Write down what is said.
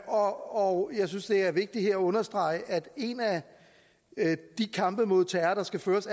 og jeg synes det her er vigtigt at understrege at en af de kampe mod terror der skal føres